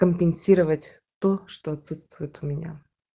компенсировать то что отсутствует у меня